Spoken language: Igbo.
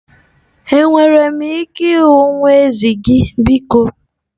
Enwere m ike ịhụ nwa ezi gị biko?